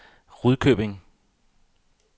Rudkøbing